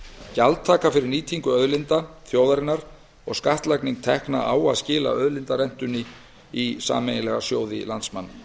gjaldtaka fyrir nýtingu auðlinda þjóðarinnar og skattlagning tekna á að skila auðlindarentunni í sameiginlega sjóði landsmanna